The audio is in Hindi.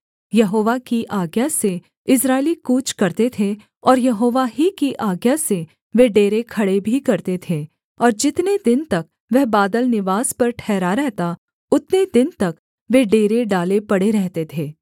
यहोवा की आज्ञा से इस्राएली कूच करते थे और यहोवा ही की आज्ञा से वे डेरे खड़े भी करते थे और जितने दिन तक वह बादल निवास पर ठहरा रहता उतने दिन तक वे डेरे डाले पड़े रहते थे